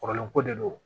Kɔrɔlen ko de do